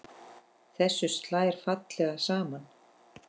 Þessu slær fallega saman.